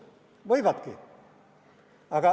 Võivadki!